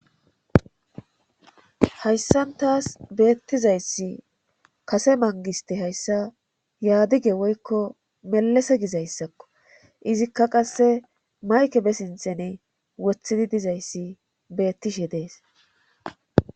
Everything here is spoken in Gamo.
Hayssan taas beettizayssi kase mangiste hayssa yaadige woykko melese gizayssakko izikka qasse mayke be sinthene wothidi dizayssi beettishe dees.